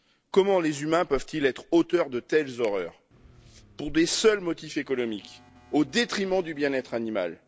Comment les humains peuvent ils être auteurs de telles horreurs, pour de seuls motifs économiques, au détriment du bien être animal?